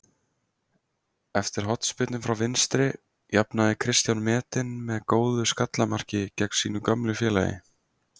Eftir hornspyrnu frá vinstri jafnaði Kristján metinn með góðu skalla marki gegn sínu gömlu félagi.